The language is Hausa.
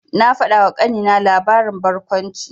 Na faɗawa ƙanina labarin barkwanci.